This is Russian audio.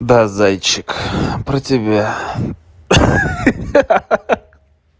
да зайчик про тебя ха-ха